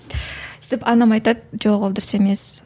сөйтіп анам айтады жоқ ол дұрыс емес